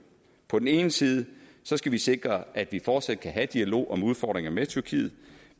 på den ene side skal vi sikre at vi fortsat kan have en dialog om udfordringer med tyrkiet